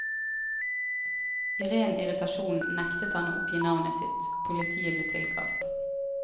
I ren irritasjon nektet han å oppgi navnet sitt, og politiet ble tilkalt.